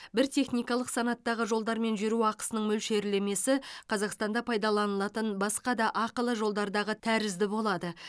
бір техникалық санаттағы жолдармен жүру ақысының мөлшерлемесі қазақстанда пайданылатын басқа да ақылы жолдардағы тәрізді болады